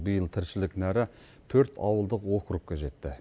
биыл тіршілік нәрі төрт ауылдық округке жетті